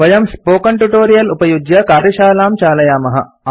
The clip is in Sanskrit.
वयम् स्पोकेन ट्यूटोरियल् उपयुज्य कार्यशालां चालयामः